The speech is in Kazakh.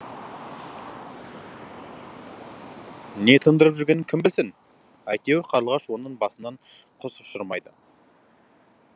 не тындырып жүргенін кім білсін әйтеуір қарлығаш оның басынан құс ұшырмайды